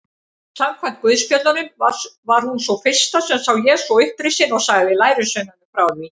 Samkvæmt guðspjöllunum var hún sú fyrsta sem sá Jesú upprisinn og sagði lærisveinunum frá því.